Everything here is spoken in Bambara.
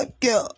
A kɛ yan